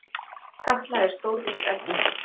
Katla er stórvirk eldstöð.